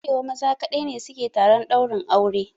A arewa maza ne kaɗai su ke taron ɗaurin aure.